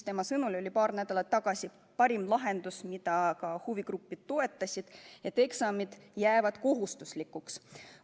Tema sõnul oli paar nädalat tagasi parim lahendus, mida ka huvigrupid toetasid, et eksamid jäävad kohustuslikuks.